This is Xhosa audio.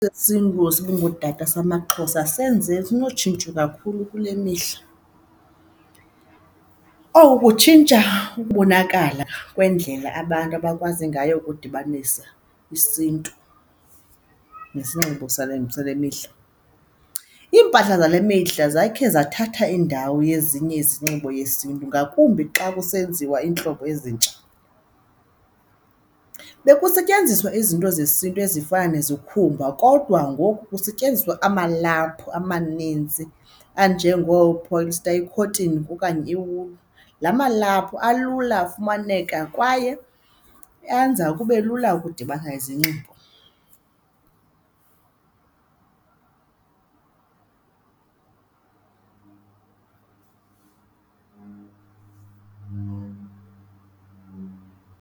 ngootata samaXhosa senze, sinotshintsho kakhulu kule mihla. Oku kutshintsha ukubonakala kwendlela abantu abakwazi ngayo ukudibanisa isiNtu nesinxibo sale, sale mihla. Iimpahla zale mihla zakhe zathatha indawo yezinye izinxibo yesiNtu ngakumbi xa kusenziwa iintlobo ezintsha. Bekusetyenziswa izinto zesiNtu ezifana nezikhumba kodwa ngoku kusetyenziswa amalaphu amaninzi anjengoo-polyster ikhothini okanye iwulu. La malaphu alula afumaneka kwaye enza kube lula ukudibana izinxibo.